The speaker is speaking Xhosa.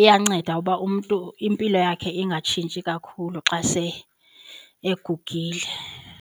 Iyanceda uba umntu impilo yakhe ingatshintshi kakhulu xa se egugile.